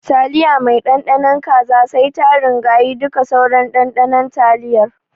Taliya mai Ɗanɗano kaza sai ta ringayi duka sauran ɗanɗanon taliyar.